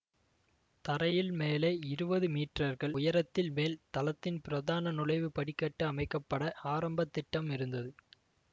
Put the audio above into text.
தரையில் மேலே இருவது மீற்றர்கள் உயரத்தில் மேல் தளத்தின் பிரதான நுழைவுக்கு படிக்கட்டு அமைக்க பட ஆரம்பத் திட்டம் இருந்தது